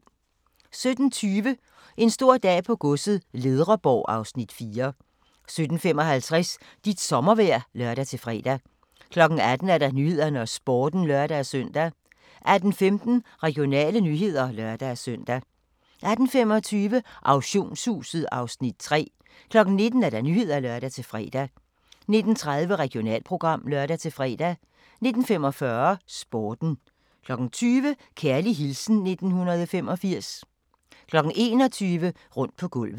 17:20: En stor dag på godset - Ledreborg (Afs. 4) 17:55: Dit sommervejr (lør-fre) 18:00: Nyhederne og Sporten (lør-søn) 18:15: Regionale nyheder (lør-søn) 18:25: Auktionshuset (Afs. 3) 19:00: Nyhederne (lør-fre) 19:30: Regionalprogram (lør-fre) 19:45: Sporten 20:00: Kærlig hilsen 1985 21:00: Rundt på gulvet